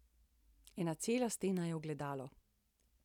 Ena cela stena je ogledalo.